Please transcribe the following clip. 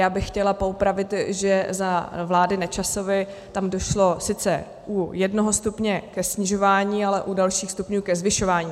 Já bych chtěla poupravit, že za vlády Nečasovy tam došlo sice u jednoho stupně ke snižování, ale u dalších stupňů ke zvyšování.